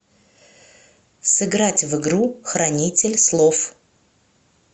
сыграть в игру хранитель слов